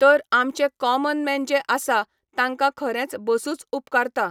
तर आमचे कॉमनमॅन जे आसा, तांकां खरेंच बसूच उपकारता.